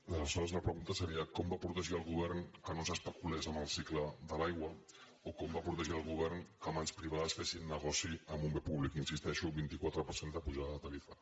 aleshores la pregunta seria com va protegir el govern que no s’especulés amb el cicle de l’aigua o com va protegir el govern que mans privades fessin negoci amb un bé públic hi insisteixo vint quatre per cent de pujada de tarifa